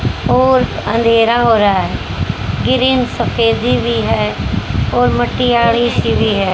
और अंधेरा हो रहा है ग्रीन सफेदी भी है और मटियारी सी भी है।